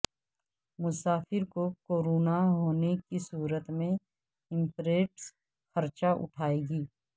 مسافر کو کورونا ہونے کی صورت میں ایمریٹس خرچہ اٹھائے گی